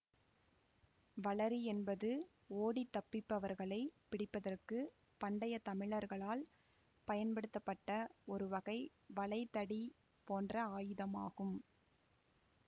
வளரி என்பது ஓடித் தப்பிப்பவர்களை பிடிப்பதற்கு பண்டைய தமிழரால் பயன்படுத்தப்பட்ட ஒருவகை வளைதடி போன்ற ஆயுதம் ஆகும்